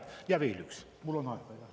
Ja veel üks, mul on aega, eks ole?